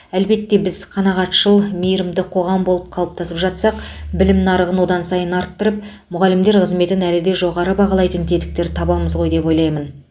әлбетте біз қанағатшыл мейірімді қоғам болып қалыптасып жатсақ білім нарығын одан сайын арттырып мұғалімдер қызметін әлі де жоғары бағалайтын тетіктер табамыз ғой деп ойлаймын